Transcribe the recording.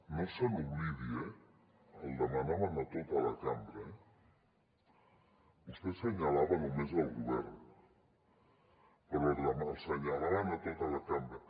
no se n’oblidi eh el demanaven a tota la cambra eh vostè assenyalava només el govern però assenyalaven tota la cambra